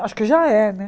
Acho que já é, né?